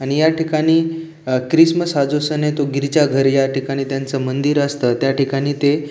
आणि या ठिकाणी आ क्रिसमस हा जो सन आहे तो गिरिजा घर या ठिकाणी त्यांच मंदिर असत त्या ठिकाणी ते --